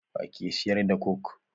Wa ke siyar da coke?